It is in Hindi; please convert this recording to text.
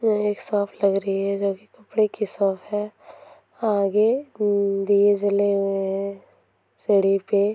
ये एक लग रही है जबकि कपडे की है | आगे उम् दिए जले हुए हैं सीढ़ी पे |